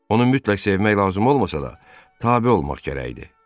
Onu mütləq sevmək lazım olmasa da tabe olmaq gərəkdi.